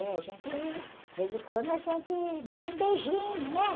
É, a gente, de vez em quando, a gente dava um beijinho, né?